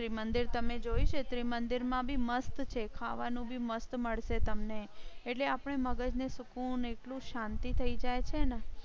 ત્રિમંદિર તમે જોઈ છે. ત્રિમંદિર માં બી મસ્ત છે ખાવા નું બી મસ્ત મળશે તમને એટલે આપણે મગજને સુકુન એટલું શાંતિ થઇ જાય છે ને